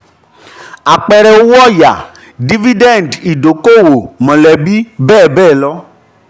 apẹẹrẹ owó oya: dividend idoko-owo mọlẹbi bẹ́ẹ̀ bẹ́ẹ̀ lọ.